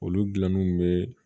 Olu dilanniw bɛ